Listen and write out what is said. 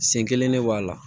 Sen kelen ne b'a la